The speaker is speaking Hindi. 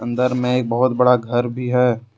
अंदर में एक बहुत बड़ा घर भी है।